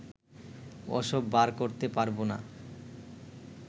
ওসব বার করতে পারবো না